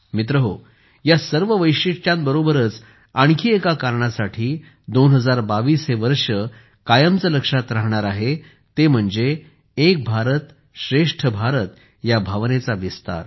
मित्रहो या सर्व वैशिष्ट्यांबरोबरच आणखी एका कारणासाठी 2022 हे वर्ष कायमचे लक्षात राहणार आहे ते म्हणजे एक भारतश्रेष्ठ भारत या भावनेचा विस्तार